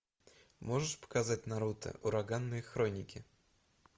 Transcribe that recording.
можешь показать наруто ураганные хроники